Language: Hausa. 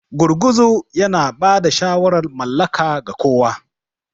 Gurguzu yana ba da shawarar mallaka ga kowa.